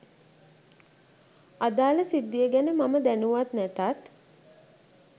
අදාල සිද්ධිය ගැන මම දැනුවත් නැතත්